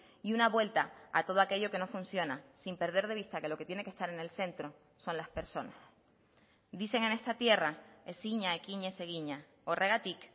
y una vuelta a todo aquello que no funciona sin perder de vista que lo que tiene que estar en el centro son las personas dicen en esta tierra ezina ekinez egina horregatik